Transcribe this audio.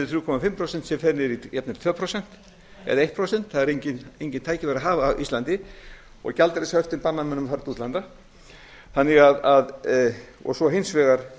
þrjú komma tvö prósent sem fer niður í jafnvel tvö prósent eða eitt prósent það eru engin tækifæri að hafa á íslandi og gjaldeyrishöftin banna mönnum að fara til útlanda og svo hins vegar